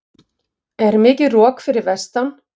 er mikið rok fyrir vestan